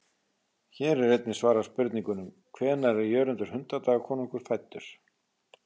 Hér er einnig svarað spurningunum: Hvenær er Jörundur hundadagakonungur fæddur?